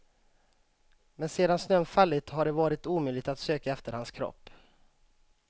Men sedan snön fallit har det varit omöjligt att söka efter hans kropp.